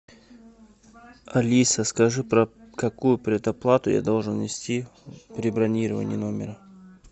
алиса скажи про какую предоплату я должен внести при бронировании номера